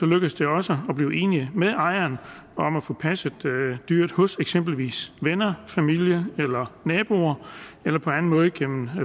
lykkes det også at blive enige med ejeren om at få passet dyret hos eksempelvis venner familie naboer eller på anden måde gennem